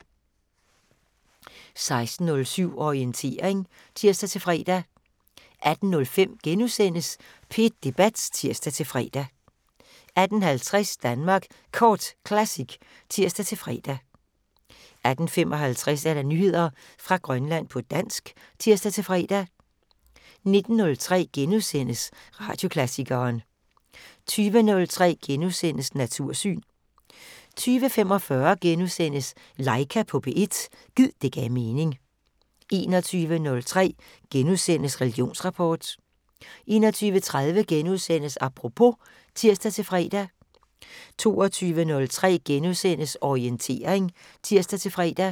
16:07: Orientering (tir-fre) 18:05: P1 Debat *(tir-fre) 18:50: Danmark Kort Classic (tir-fre) 18:55: Nyheder fra Grønland på dansk (tir-fre) 19:03: Radioklassikeren * 20:03: Natursyn * 20:45: Laika på P1 – gid det gav mening * 21:03: Religionsrapport * 21:30: Apropos *(tir-fre) 22:03: Orientering *(tir-fre)